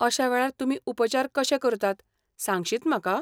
अश्या वेळार तुमी उपचार कशे करतात सांगशीत म्हाका?